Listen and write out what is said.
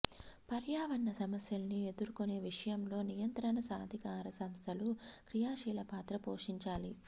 పర్యావరణ సమస్యల్ని ఎదుర్కొనే విషయంలో నియంత్రణ ప్రాధికార సంస్థలు క్రియాశీలపాత్ర పోషించాలి